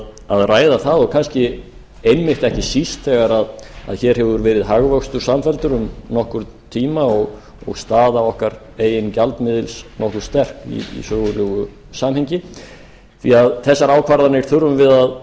að ræða það og kannski einmitt ekki síst þegar að hér hefur verið hagvöxtur samfelldur um nokkurn tíma og staða okkar eigin gjaldmiðils nokkuð sterk í sögulegu samhengi því þessar ákvarðanir þurfum við að